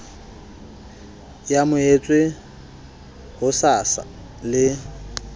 e amohetswe ho sasa le